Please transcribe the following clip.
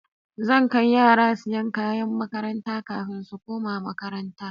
Zan kai yara siyan kayan makaranta kafin su koma makaranta